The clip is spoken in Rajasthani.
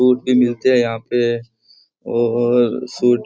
सूट भी मिलते है यहां पे और सूट --